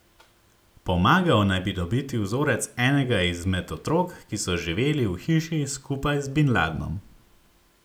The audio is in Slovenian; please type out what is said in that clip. Pomagal naj bi dobiti vzorec enega izmed otrok, ki so živeli v hiši skupaj z bin Ladnom.